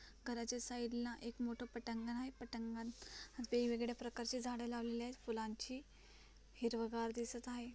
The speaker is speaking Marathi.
घराच्या साइड ला एक मोठ पटांगण आहे. पटांगणात वेगवेगळ्या प्रकारच्या झाडे लावलेले आहेत. फुलांची हिरव गार दिसत आहे.